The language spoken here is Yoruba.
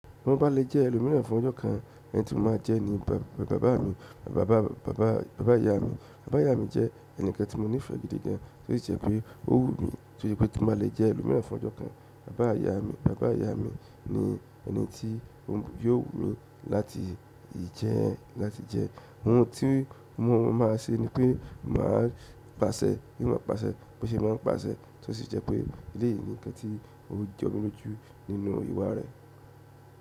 Mo bá lè jẹ́ ẹlòmíràn fún ọjọ́ kan, ẹni tí mo máa jẹ́ ni bàbá ìyá mi. Bàbá ìyá mi jẹ́ ẹni tí mo nífẹ̀ẹ́ gidi gan, tó sì jẹ́ pé ó wù mí tó í je pé tí n ba lè jẹ́ ẹlòmíràn fún ọjọ́ kan. Bàbá ìyá mi ni ẹni tí ó yóò wù mi láti jẹ́. Ohun tí mo máa ṣe ni pé mo máa pàṣẹ bí wọ́n ń pàṣẹ, bó ṣe wọ́n ń pàṣẹ tó sì jẹ́ pé ìdí yìí ni nǹkan tí ó jọ mí ló jù nínú ìwà rẹ̀.